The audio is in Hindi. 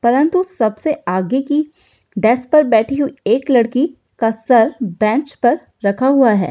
परंतु सबसे आगे की डेस्क पर बैठी हुई एक लड़की का सर बेंच पर रखा हुआ है।